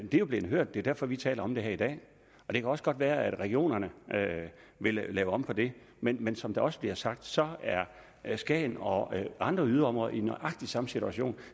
jo blevet hørt det er derfor vi taler om det her i dag det kan også godt være at regionerne vil lave om på det men men som der også bliver sagt så er er skagen og andre yderområder i nøjagtig samme situation